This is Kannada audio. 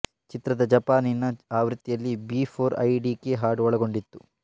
ಚಿತ್ರದ ಜಪಾನಿನ ಆವೃತ್ತಿಯಲ್ಲಿ ಬಿಫೋರ್ ಐ ಡಿಕೇ ಹಾಡು ಒಳಗೊಂಡಿತ್ತು